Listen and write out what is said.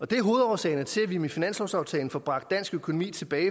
det er hovedårsagerne til at vi med finanslovsaftalen får bragt dansk økonomi tilbage